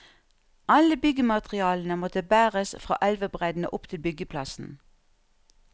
Alle byggematerialene måtte bæres fra elvebredden og opp til byggeplassen.